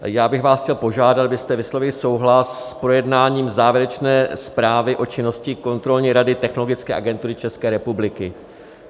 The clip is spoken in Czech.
Já bych vás chtěl požádat, abyste vyslovili souhlas s projednáním závěrečné zprávy o činnosti kontrolní rady Technologické agentury České republiky.